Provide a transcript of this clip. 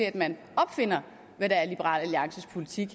at man opfinder hvad der er liberal alliances politik